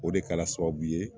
O de kɛla sababu ye